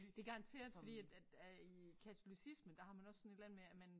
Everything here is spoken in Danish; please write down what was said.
Det garanteret fordi at at at i katolicismen der har man også sådan et eller andet med at man